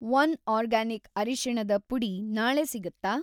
One organic ಅರಿಶಿಣದ ಪುಡಿ ನಾಳೆ ಸಿಗತ್ತಾ?